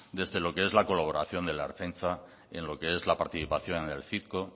desde lo que es la colaboración de la ertzaintza en lo que es la participación en el citco